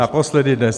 Naposledy dnes.